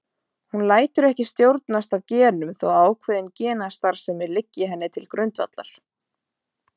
Hún lætur ekki stjórnast af genum þótt ákveðin genastarfsemi liggi henni til grundvallar.